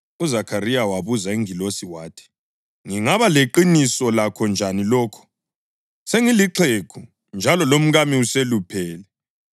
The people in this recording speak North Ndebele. UZakhariya wabuza ingilosi wathi, “Ngingaba leqiniso lakho njani lokho? Sengilixhegu njalo lomkami useluphele.”